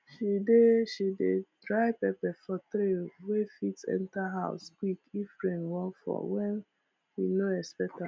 she dey she dey dry pepper for tray wey fit enter house quick if rain wan fall wen we no expect am